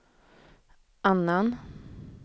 annan